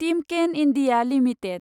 Timken India limited